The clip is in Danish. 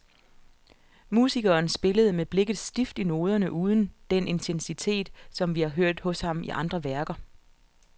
Musikeren spillede med blikket stift i noderne uden den intensitet, som vi har hørt hos ham i andre værker.